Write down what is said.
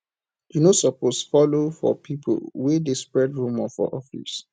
you no suppose folo for pipo wey dey spread rumour for office